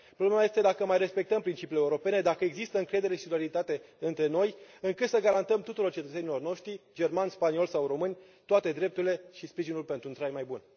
Problema este dacă mai respectăm principiile europene, dacă există încredere și solidaritate între noi, încât să garantăm tuturor cetățenilor noștri, germani, spanioli sau români, toate drepturile și sprijinul pentru un trai mai bun.